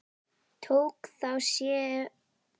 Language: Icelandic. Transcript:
Tók þá sá sem fór til sinna ráða.